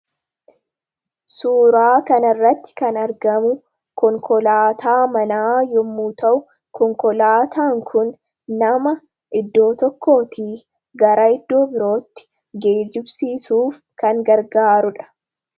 suuraa kan irratti kan argamu konkolaataa manaa yommuu ta'u konkolaataan kun nama iddoo tokkootii gara iddoo birootti geejibsiisuuf kan gargaarudha.